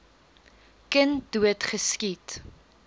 kind dood geskiet